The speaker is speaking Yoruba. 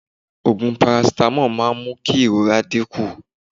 Ògùn paracetamol máa n mú ìrora dí kún